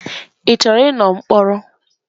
Ị chọrọ ịnọ mkpọrọ?